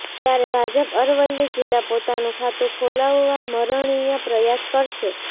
ત્યારે ભાજપ અરવલ્લી જિલ્લા પોતાનું ખાતું ખોલાવવા મરણીયા પ્રયાસ કરશે